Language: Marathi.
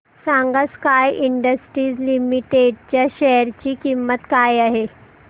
सांगा स्काय इंडस्ट्रीज लिमिटेड च्या शेअर ची किंमत काय आहे